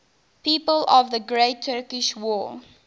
people of the great turkish war